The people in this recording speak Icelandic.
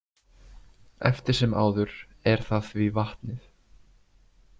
Eftir sem áður er það því vatnið.